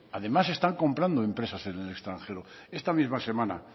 además están comprando empresas en el extranjero esta misma semana